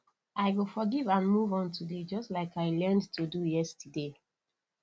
i go forgive and move on today just like i learned to do yesterday